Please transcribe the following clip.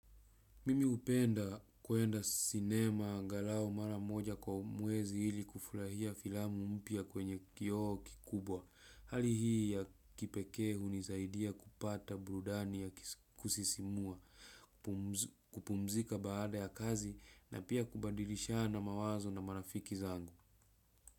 Mimi hupenda kuenda sinema angalau mara moja kwa mwezi ili kufurahia filamu mpya kwenye kioo kikubwa. Hali hii ya kipekee hunisaidia kupata burudani ya kusisimua, kupumzika baada ya kazi na pia kubadilishana mawazo na marafiki zangu.